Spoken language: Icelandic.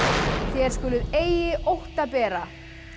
þér skuluð eigi ótta bera